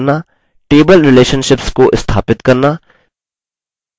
6 table relationships को स्थापित करना